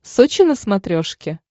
сочи на смотрешке